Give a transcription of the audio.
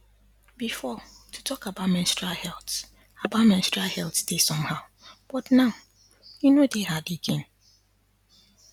before to talk about menstrual health about menstrual health dey somehow but now e no dey hard again